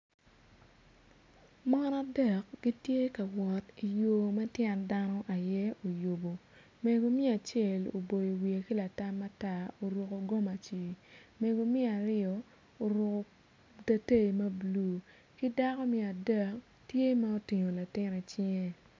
Mon adek gitye ka wot yo ma tyen dano aye ma oyubo mego me acel oboyo wiye ki latam matar oruko gomaci mego me aryo oruko teteyi mabulu ki dako me adek tye ma otingo latin i cinge.